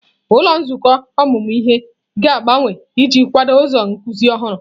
Ụlọ nzukọ ọmụmụ ihe ga-agbanwe iji kwado ụzọ nkuzi ọhụrụ.